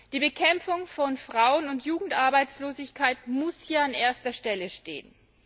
Die Bekämpfung von Frauen und Jugendarbeitslosigkeit muss hier an erster Stelle stehen.